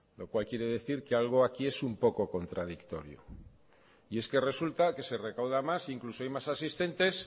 lo cual quiere decir que algo aquí es un poco contradictorio es que resulta que se recauda más incluso hay más asistentes